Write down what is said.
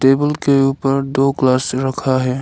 Table के ऊपर दो ग्लास रखा है।